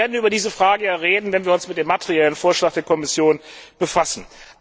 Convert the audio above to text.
Aber wir werden über diese Frage ja reden, wenn wir uns mit dem materiellen Vorschlag der Kommission befassen.